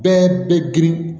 Bɛɛ bɛ girin